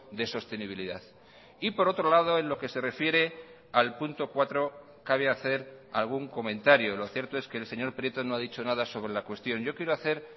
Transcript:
de sostenibilidad y por otro lado en lo que se refiere al punto cuatro cabe hacer algún comentario lo cierto es que el señor prieto no ha dicho nada sobre la cuestión yo quiero hacer